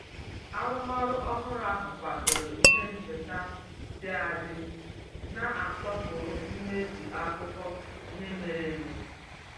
Arụmarụ ọhụrụ ahụ kwadoro ihe ncheta dị adị na-asọpụrụ mmezu akụkọ ihe mere eme